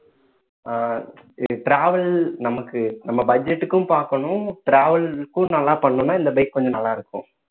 ஆஹ் இது travel நமக்கு நம்ம budget க்கும் பாக்கணும் travel க்கும் நல்லா பண்ணணும்ன்னா இந்த bike கொஞ்சம் நல்லா இருக்கும்